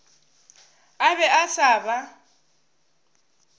a be a sa ba